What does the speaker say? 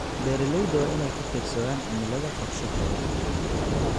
Beeralayda waa inay ka fiirsadaan cimilada qorshahooda.